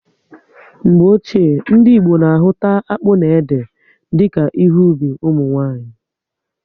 Mgbe ochie, ndị Igbo na ahụta akpụ na ede dika ihe ubi ụmụnwanyị